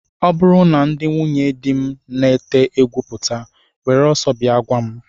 Ọ bụrụ na ndị nwunyedi m na-ete egwu pụta, were ọsọ bịa gwa m!